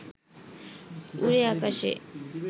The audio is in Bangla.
উড়ে আকাশে